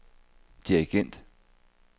dirigent